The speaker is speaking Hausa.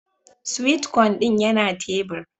"Sweet corn" din yana tebur.